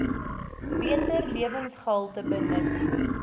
beter lewensgehalte benut